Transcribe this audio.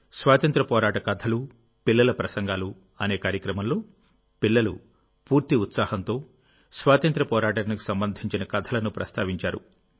స్వాతంత్ర్య పోరాట కథలుపిల్లల ప్రసంగాలు అనే కార్యక్రమంలోపిల్లలు పూర్తి ఉత్సాహంతో స్వాతంత్ర్య పోరాటానికి సంబంధించిన కథలను ప్రస్తావించారు